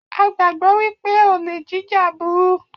A gbàgbọ́ wípé olè jíjà burú